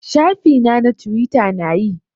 Shafi na na twita na yi.